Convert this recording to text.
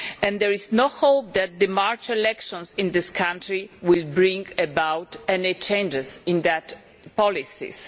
There is no hope that the March elections in the country will bring about any change in those policies.